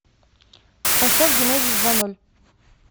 поставь генезис два ноль